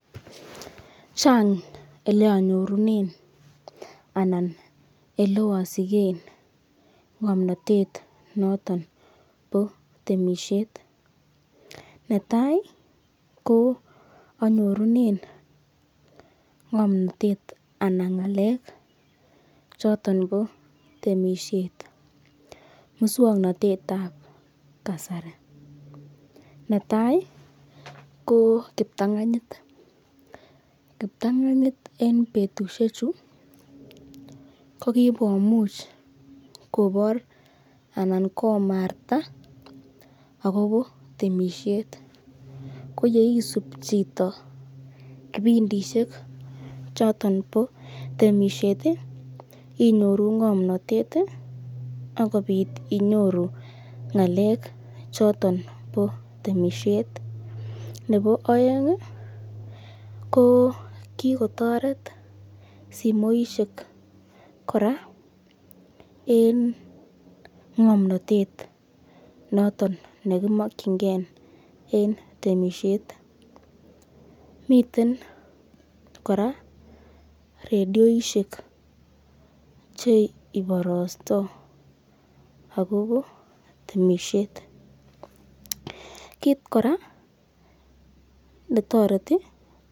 Chang ele anyorunen ananele osigen ng'omnatet noton bo temesiet. Netai ko anyorunen ng'omnatet anan ng'alek choton bo temisiet muswoknatet ab kasari. Netai ko kiptanganyit, kiptang'anyit en betusheju ko kigomuch kobor anan komarta agobo temisiet. Ko ye isub chito kipindishek choto bo temisiet inyoru ng'omnatet ak inyoru ng'alek choton bo temisiet. Nebo oeng ko kigotoret simoishek kora en ng'omnatet noton nekimokinge en temisiet. Miten kora radioishek che iborostoi agobo temisiet.